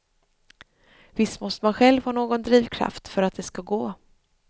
Visst måste man själv ha någon drivkraft för att det skall gå.